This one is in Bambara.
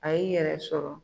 A y'i yɛrɛ sɔrɔ